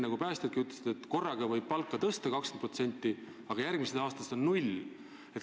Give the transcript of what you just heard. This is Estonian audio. Päästjadki ütlesid, et korraga võib ju palka tõsta 20%, aga järgmisest aastast on see null.